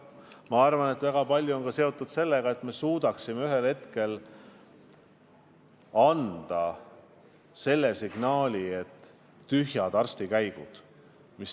Ma arvan, et väga palju on seotud ka sellega, et me suudaksime ühel hetkel anda signaali, et väga tähtis on vähendada nn tühjade arstilkäikude arvu.